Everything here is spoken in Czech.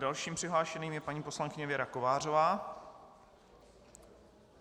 Dalším přihlášeným je paní poslankyně Věra Kovářová.